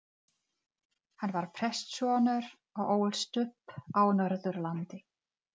Hann var prestssonur og ólst upp á Norðurlandi.